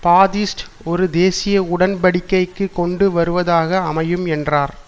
பாதிஸ்ட் ஒரு தேசிய உடன்படிக்கைக்கு கொண்டு வருவதாக அமையும் என்றார்